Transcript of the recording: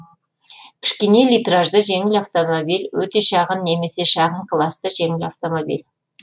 кішкене литражды жеңіл автомобиль өте шағын немесе шағын класты жеңіл автомобиль